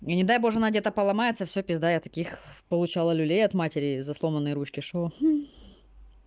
и не дай боже она где-то поломается все пизда я таких получала люлей от матери за сломанные ручки что